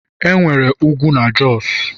enwere ugwu na Jos